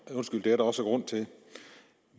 undskyld det er der også grund til